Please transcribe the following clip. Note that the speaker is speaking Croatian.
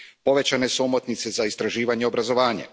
Povećane su omotnice za istraživanje i obrazovanje.